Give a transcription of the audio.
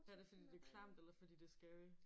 Er det fordi det er klamt eller fordi det er scary?